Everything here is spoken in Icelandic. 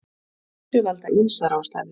Þessu valda ýmsar ástæður.